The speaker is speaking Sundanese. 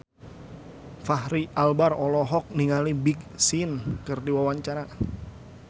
Fachri Albar olohok ningali Big Sean keur diwawancara